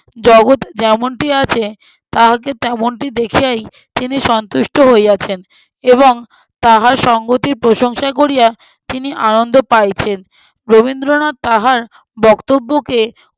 জগত যেমনটি আছে, তাহাকে তেমনটি দেখিয়াই তিনি সন্তুষ্ট হইয়াছেন এবং তাহার সংগতির প্রশংসা করিয়া তিনি আনন্দ পাইছেনন। রবীন্দ্রনাথ তাহার বক্তব্যকে